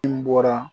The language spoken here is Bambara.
N bɔra